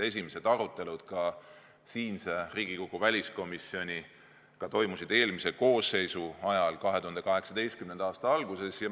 Esimesed arutelud Riigikogu väliskomisjonis toimusid eelmise koosseisu ajal 2018. aasta alguses.